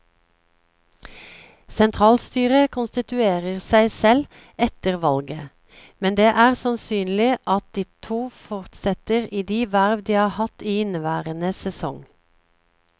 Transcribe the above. Sentralstyret konstituerer seg selv efter valget, men det er sannsynlig at de to fortsetter i de verv de har hatt i inneværende sesong.